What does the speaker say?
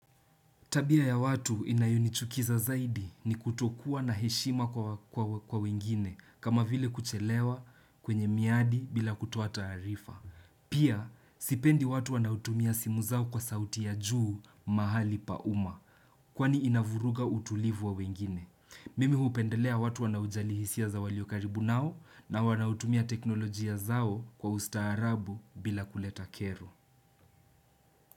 Tabia ya watu inayunichukiza zaidi ni kutokuwa na heshima kwa wengine kama vile kuchelewa kwenye miadi bila kutoa taarifa. Pia, sipendi watu wanaotumia simu zao kwa sauti ya juu mahali pa umma kwani inavuruga utulivu wa wengine. Mimi hupendelea watu wanaojali hisia za waliokaribu nao na wanautumia teknolojia zao kwa ustaarabu bila kuleta kero.